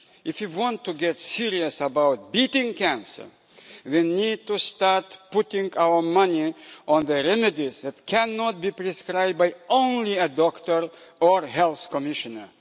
If we want to get serious about beating cancer, we need to start putting our money into the remedies that cannot be prescribed only by a doctor or health commissioner.